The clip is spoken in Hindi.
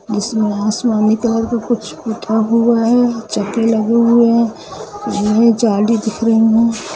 इसमें आसमानी कलर का कुछ पुता हुआ है चप्पले लगे हुए है जिनमे झाड़ी दिख रही है।